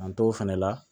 An t'o fɛnɛ la